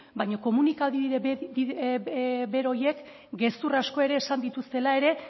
baino komunikabide bero horiek gezur asko ere esan dituztela ere